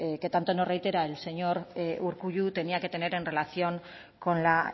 que tanto nos reitera el señor urkullu tenía que tener en relación con la